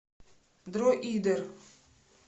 дроидер